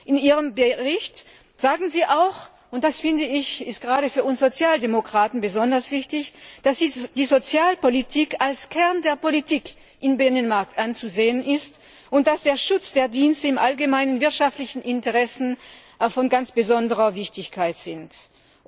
In Ihrem Bericht sagen Sie auch und das ist gerade für uns Sozialdemokraten besonders wichtig dass die Sozialpolitik als Kern der Politik im Binnenmarkt anzusehen ist und dass der Schutz der Dienste im allgemeinen wirtschaftlichen Interesse von ganz besonderer Wichtigkeit ist.